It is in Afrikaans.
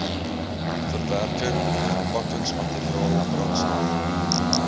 verwerking verpakkingsmateriaal brandstof